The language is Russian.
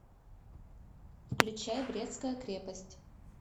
включай брестская крепость